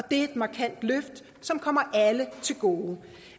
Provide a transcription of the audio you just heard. et markant løft som kommer alle til gode